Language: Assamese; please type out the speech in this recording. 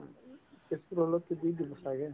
ছাগে